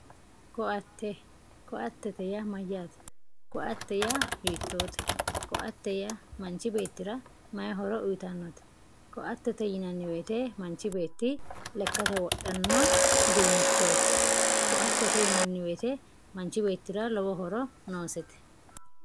koatte koaatete yaa mayyaate? koate yaa hiittote? koaate yaa manchi beettira may horo uyitawoote ?koaatete yaa manchi beetti lekate wodhanno uduunnichooti, koaatete yinanni woyte manchi beettira lowo horo noosete.